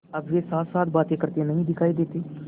अब वे साथसाथ बातें करते नहीं दिखायी देते